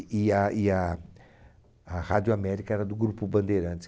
E a e a a Rádio América era do Grupo Bandeirantes.